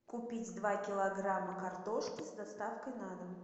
купить два килограмма картошки с доставкой на дом